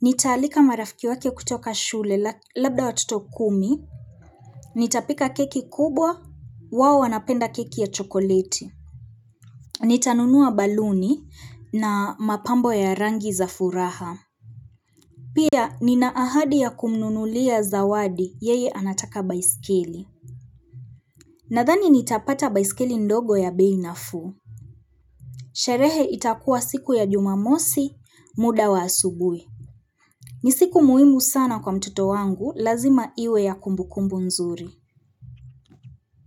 Nitaalika marafiki wake kutoka shule labda watoto kumi. Nitapika keki kubwa, wao anapenda keki ya chokoleti. Nitanunua baluni na mapambo ya rangi za furaha. Pia ni na ahadi ya kumnunulia zawadi yeye anataka baiskeli. Nadhani nitapata baiskeli ndogo ya bei nafuu. Sherehe itakuwa siku ya jumamosi, muda wa asubuhi. Nisiku muhimu sana kwa mtoto wangu, lazima iwe ya kumbukumbu nzuri.